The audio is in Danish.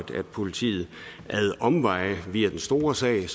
politiet ad omveje altså via den store sag